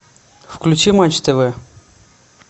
включи матч тв